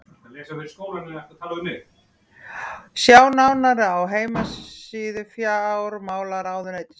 Sjá nánar á heimasíðu fjármálaráðuneytisins.